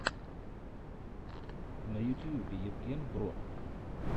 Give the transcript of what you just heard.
на ютьюбе евген бро